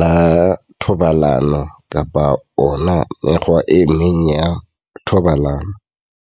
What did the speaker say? la thobalano kapa ona mekgwa e meng ya thobalano.